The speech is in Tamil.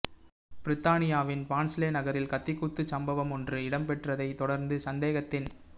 பிரித்தானியாவின் பான்ஸ்லே நகரில் கத்திக்குத்துச் சம்பவமொன்று இடம்பெற்றதைத் தொடர்ந்து சந்தேகத்தின் பே